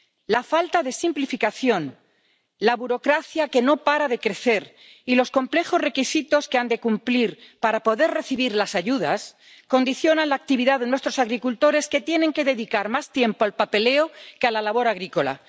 La falta de simplificación, la burocracia que no para de crecer y los complejos requisitos que han de cumplir para poder recibir las ayudas condicionan la actividad de nuestros agricultores, que tienen que dedicar más tiempo al papeleo que a la labor agrícola.